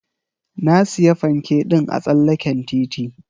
Na siya fanke ɗin a tsallaken titi.